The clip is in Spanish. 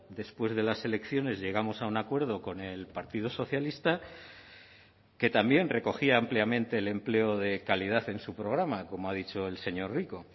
después de las elecciones llegamos a un acuerdo con el partido socialista que también recogía ampliamente el empleo de calidad en su programa como ha dicho el señor rico